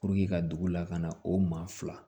ka dugu la ka na o maa fila